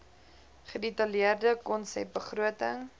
gedetailleerde konsep begroting